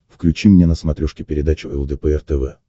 включи мне на смотрешке передачу лдпр тв